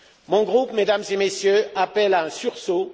Mon groupe, Mesdames et Messieurs, appelle à un sursaut.